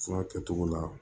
Fura kɛcogo la